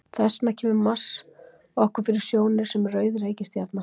Þess vegna kemur Mars okkur fyrir sjónir sem rauð reikistjarna.